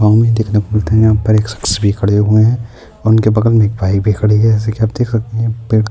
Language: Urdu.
یہاں پہ ایک شخص بھی کھڑے ہوئے ہیں اور ان کے بغل میں بائیک بھی کھڑی ہوئی ہے اور اپ دیکھ سکتے ہیں-